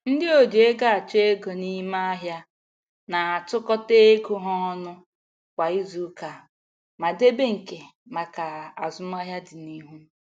Ndị oji ego achọ ego n'ime ahịa na-atụkọta ego ha ọnụ kwa izuuka ma debe nke maka azụmahịa dịnihu.